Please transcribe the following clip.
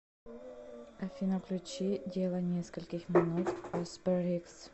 афина включи дело нескольких минут аспер икс